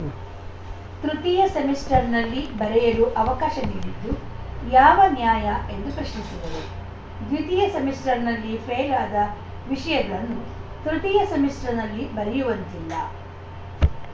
ಉಂ ತೃತೀಯ ಸೆಮಿಸ್ಟರ್‌ನಲ್ಲಿ ಬರೆಯಲು ಅವಕಾಶ ನೀಡಿದ್ದು ಯಾವ ನ್ಯಾಯ ಎಂದು ಪ್ರಶ್ನಿಸಿದರು ದ್ವಿತೀಯ ಸೆಮಿಸ್ಟರ್‌ನಲ್ಲಿ ಫೇಲಾದ ವಿಷಯಗಳನ್ನು ತೃತೀಯ ಸೆಮಿಸ್ಟರ್‌ನಲ್ಲಿ ಬರೆಯುವಂತಿಲ್ಲ